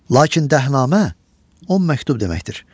Lakin dəhnamə 10 məktub deməkdir.